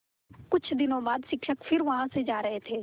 कुछ दिनों बाद शिक्षक फिर वहाँ से जा रहे थे